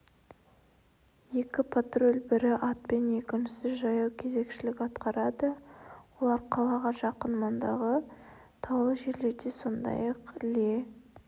екі патруль бірі атпен екіншісі жаяу кезекшілік атқарады олар қалаға жақын маңдағы таулы жерлерде сондай-ақ іле